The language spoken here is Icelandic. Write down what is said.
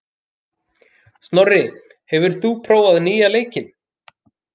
Snorri, hefur þú prófað nýja leikinn?